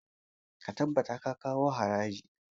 Ka tabbata ka kawo harija!